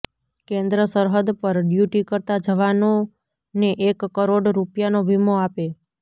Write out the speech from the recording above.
કેન્દ્ર સરહદ પર ડ્યૂટી કરતા જવાનોને એક કરોડ રૂપિયાનો વીમો આપે